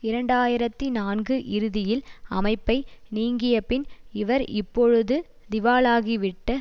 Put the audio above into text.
இரண்டு ஆயிரத்தி நான்கு இறுதியில் அமைப்பை நீங்கியபின் இவர் இப்பொழுது திவாலாகிவிட்ட